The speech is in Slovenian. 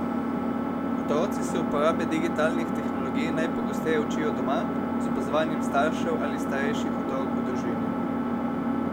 Otroci se uporabe digitalnih tehnologij najpogosteje učijo doma, z opazovanjem staršev ali starejših otrok v družini.